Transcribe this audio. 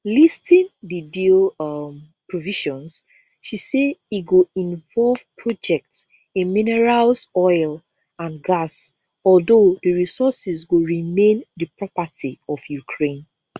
listing di deal um provisions she say e go involve projects in minerals oil and gas although di resources go remain di property of ukraine